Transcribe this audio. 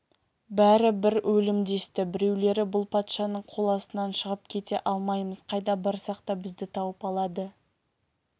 бәрі бір өлім десті біреулері бұл патшаның қол астынан шығып кете алмаймыз қайда барсақ та бізді тауып алады